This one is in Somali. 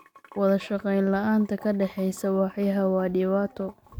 Wadashaqeyn la'aanta ka dhexeysa waaxyaha waa dhibaato.